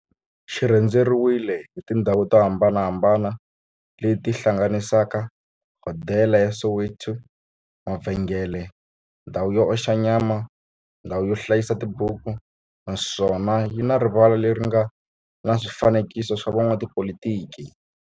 xi rhendzeriwile hi tindhawu to hambanahambana le ti hlanganisaka, hodela ya Soweto, mavhengele, ndhawu yo oxa nyama, ndhawu yo hlayisa tibuku, naswona yi na rivala le ri nga na swifanekiso swa vo n'watipolitiki.